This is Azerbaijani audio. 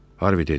Harvi dedi: